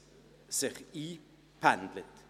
Dies zeigt der Blick in andere Kantone.